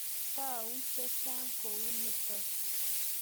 Tau che chang' kou nitok.